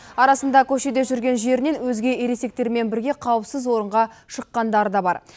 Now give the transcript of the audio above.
арасында көшеде жүрген жерінен өзге ересектермен бірге қауіпсіз орынға шыққандары да бар